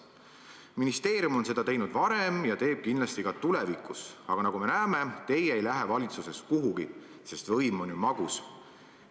Ministeerium on seda teinud varem ja teeb kindlasti ka tulevikus, aga nagu me näeme, teie ei lähe valitsusest kuhugi, sest võim on ju magus.